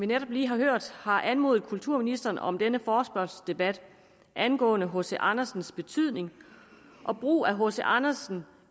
netop lige har hørt har anmodet kulturministeren om denne forespørgselsdebat angående hc andersens betydning og brug af hc andersen